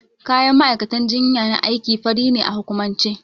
Kayan ma'aikatan jinya na aiki fari ne a hukumance.